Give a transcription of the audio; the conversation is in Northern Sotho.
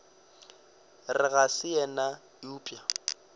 re ga se yena eupša